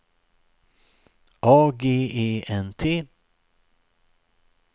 A G E N T